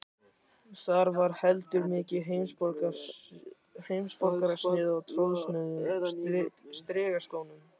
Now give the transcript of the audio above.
Það var heldur ekki mikið heimsborgarasnið á trosnuðum strigaskónum.